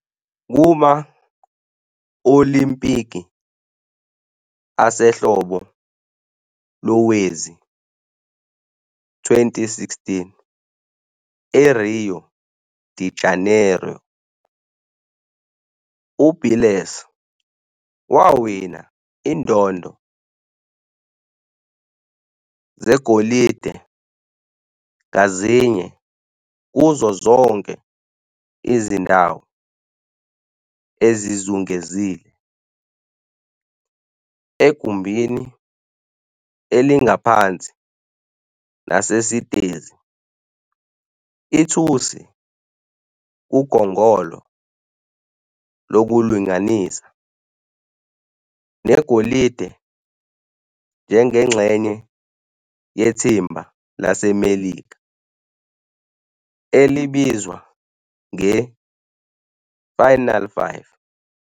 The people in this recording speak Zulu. Kuma-Olimpiki Asehlobo lowezi-2016 eRio de Janeiro, uBiles wawina izindondo zegolide ngazinye kuzo zonke izindawo ezizungezile, egumbini elingaphansi nasesitezi, ithusi kugongolo lokulinganisa, negolide njengengxenye yethimba laseMelika, elibizwa nge " Final Five ".